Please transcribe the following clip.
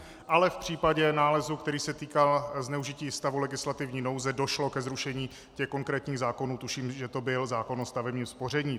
Ale v případě nálezu, který se týkal zneužití stavu legislativní nouze, došlo ke zrušení těch konkrétních zákonů, tuším, že to byl zákon o stavebním spoření.